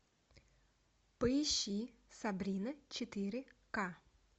поищи сабрина четыре ка